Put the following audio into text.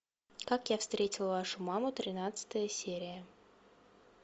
как я встретил вашу маму тринадцатая серия